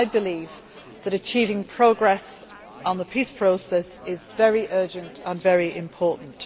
I believe that achieving progress on the peace process is very urgent and very important.